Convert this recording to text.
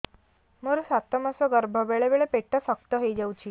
ମୋର ସାତ ମାସ ଗର୍ଭ ବେଳେ ବେଳେ ପେଟ ଶକ୍ତ ହେଇଯାଉଛି